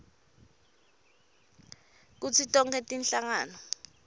kutsi tonkhe tinhlangano